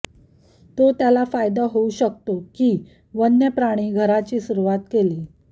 तो त्याला फायदा होऊ शकतो की वन्य प्राणी घराची सुरुवात केली